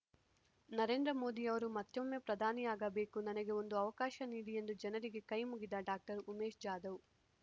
ನರೇಂದ್ರಮೋದಿಯವರು ಮತ್ತೊಮ್ಮೆ ಪ್ರಧಾನಿಯಾಗಬೇಕು ನನಗೆ ಒಂದು ಅವಕಾಶ ನೀಡಿ ಎಂದು ಜನರಿಗೆ ಕೈ ಮುಗಿದ ಡಾಕ್ಟರ್ ಉಮೇಶ್ ಜಾಧವ್